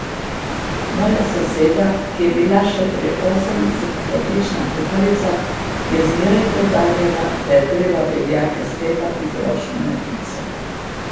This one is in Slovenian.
Moja soseda, ki je bila še pri osemdesetih odlična kuharica, je zmeraj poudarjala, da je treba beljake stepati z ročno metlico.